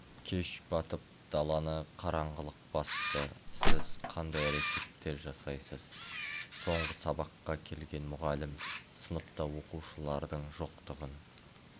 кеш батып даланы қараңғылық басты сіз қандай әрекеттер жасайсыз соңғы сабаққа келген мұғалім сыныпта оқушылардың жоқтығын